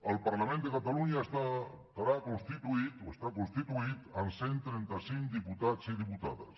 el parlament de catalunya estarà constituït o està constituït amb cent i trenta cinc diputats i diputades